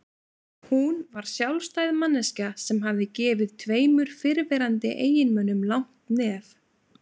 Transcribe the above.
Hún var sjálfstæð manneskja sem hafði gefið tveimur fyrrverandi eiginmönnum langt nef.